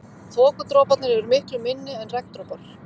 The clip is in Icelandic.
Þokudroparnir eru miklu minni en regndropar.